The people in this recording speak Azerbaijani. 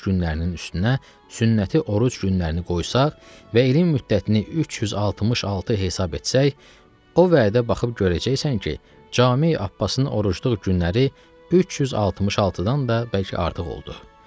günlərinin üstünə, sünnəti oruc günlərini qoysaq və ilin müddətini 366 hesab etsək, o vədə baxıb görəcəksən ki, Cami Abbasın orucluq günləri 366-dan da bəlkə artıq oldu.